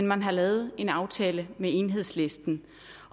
man har lavet en aftale med enhedslisten